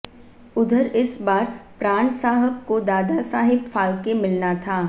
उधर इस बार प्राण साहब को दादा साहेब फाल्के मिलना था